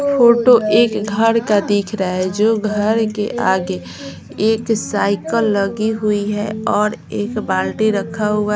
photo एक घर का दिख रहा है जो घर के आगे एक साइकल लगी हुई है और एक बाल्टी रखा हुआ--